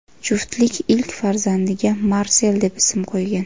Juftlik ilk farzandiga Marsel deb ism qo‘ygan.